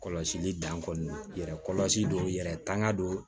Kɔlɔsili dan kɔni yɛrɛ kɔlɔsi yɛrɛ tanga don